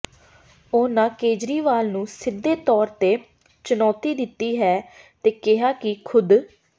ਉਹਨਾਂ ਕੇਜਰੀਵਾਲ ਨੂੰ ਸਿੱਧੇ ਤੌਰ ਤੇ ਚੁਣੌਤੀ ਦਿੱਤੀ ਹੈ ਤੇ ਕਿਹਾ ਕਿ ਖੁਦ